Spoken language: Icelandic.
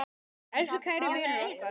Elsku kæri vinur okkar.